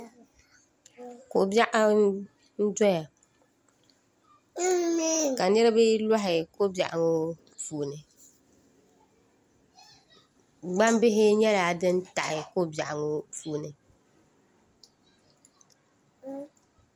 Ko biɛɣu n doya ka niraba loɣi ko biɛɣu ŋo puuni gbambihi nyɛla din taɣi ko biɛɣu ŋo puuni